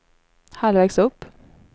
halvvägs upp